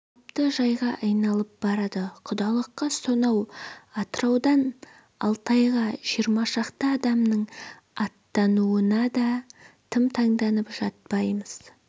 қалыпты жайға айналып барады құдалыққа сонау атыраудан алтайға жиырмашақты адамның аттануына да тым таңданып жатпаймыз